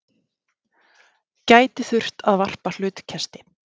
Gæti þurft að varpa hlutkesti